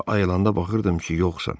Sonra ayılanda baxırdım ki, yoxsan.